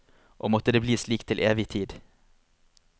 Og måtte det bli slik til evig tid.